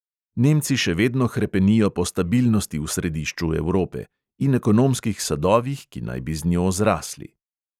Nemci še vedno hrepenijo po stabilnosti v središču evrope – in ekonomskih sadovih, ki naj bi z njo zrasli.